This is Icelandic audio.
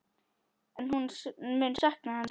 En hún mun sakna hans.